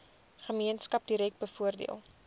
gemeenskap direk bevoordeel